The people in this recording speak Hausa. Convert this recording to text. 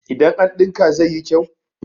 idan an dinka zai yi kyau?